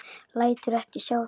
Lætur ekki sjá sig.